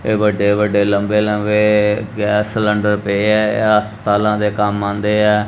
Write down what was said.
ਇਹ ਵੱਡੇ-ਵੱਡੇ ਲੰਬੇ-ਲੰਬੇ ਗੈਸ ਸਿਲੇਂਡਰ ਪਏ ਐ ਇਹ ਹਸਪਤਾਲਾਂ ਦੇ ਕੰਮ ਆਂਦੇ ਐ।